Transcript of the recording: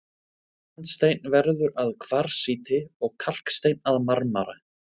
Sandsteinn verður að kvarsíti og kalksteinn að marmara.